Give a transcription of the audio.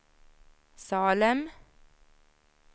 Salem